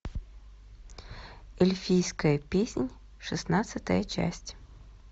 эльфийская песнь шестнадцатая часть